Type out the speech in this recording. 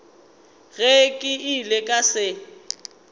ge ke ile ka se